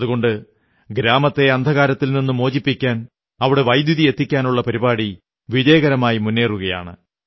അതുകൊണ്ട് ഗ്രാമത്തെ അന്ധകാരത്തിൽ നിന്നു മോചിപ്പിക്കാൻ അവിടെ വൈദ്യുതി എത്തിക്കാനുള്ള പരിപാടി വിജയകരമായി മുന്നേറുകയാണ്